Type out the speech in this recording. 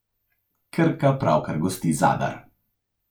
Krka pravkar gosti Zadar.